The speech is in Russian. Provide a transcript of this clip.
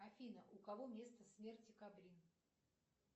афина у кого место смерти кабрин